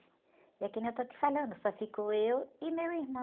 É que nem eu estou te falando, só ficou eu e meu irmão.